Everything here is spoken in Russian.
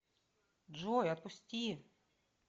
джой отпусти